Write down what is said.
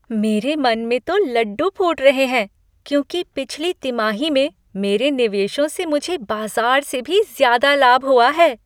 मेरे मन में तो लड्डू फूट रहे हैं, क्योंकि पिछली तिमाही में मेरे निवेशों से मुझे बाज़ार से भी ज्यादा लाभ हुआ है।